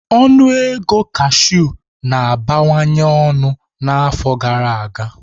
Ọnụ ego cashew na-abawanye ọnụ n'afọ gara aga.